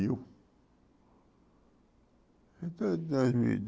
Então, dois mil e